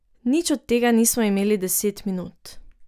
Nič od tega nismo imeli deset minut.